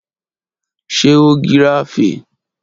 Ṣe o giraffe?